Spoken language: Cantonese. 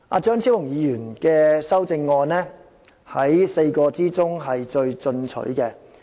張超雄議員的修正案是4位議員之中最進取的。